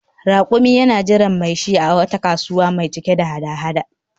Rakumi yana jiran mai shi a wata kasuwa mai cike da hada-hada